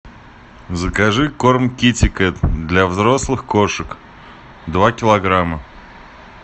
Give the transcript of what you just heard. закажи корм китекет для взрослых кошек два килограмма